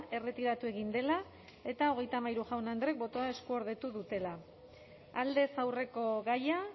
erretiratu egin dela eta hogeita hamairu jaun andreek botoa eskuordetu dutela aldez aurreko gaia